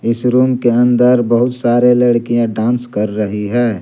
इस रूम के अंदर बहुत सारी लड़कियां डांस कर रही हैं।